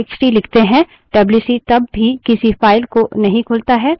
इसके बजाय standard in stdin से input लेने लगता है